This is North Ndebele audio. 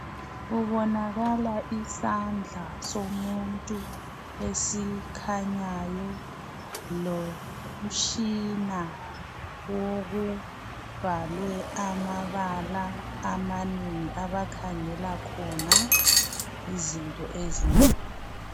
Kubonakala isandla somuntu esikhanyayo. Lomtshina wokubhalwe amabala amanengi abakhangela khona izinto ezinengi.